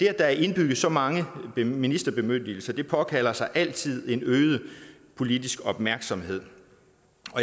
er indbygget så mange ministerbemyndigelser påkalder sig altid en øget politisk opmærksomhed